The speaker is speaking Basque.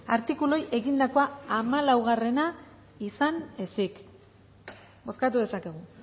artikuluei egindakoa hamalaugarrena izan ezik bozkatu dezakegu